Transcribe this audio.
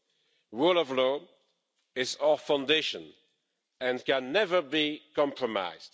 The rule of law is our foundation and can never be compromised.